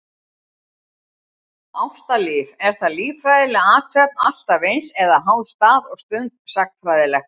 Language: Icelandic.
Ástalíf, er það líffræðileg athöfn alltaf eins, eða háð stað og stund, sagnfræðilegt?